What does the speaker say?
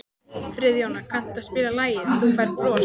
Friðjóna, kanntu að spila lagið „Þú Færð Bros“?